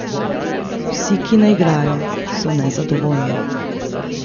Vsi, ki ne igrajo, so nezadovoljni.